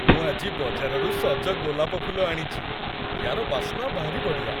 ମୁଁ ଆଜି ବଜାରରୁ ସଜ ଗୋଲାପ ଫୁଲ ଆଣିଚି । ୟା'ର ବାସ୍ନା ଭାରି ବଢ଼ିଆ ।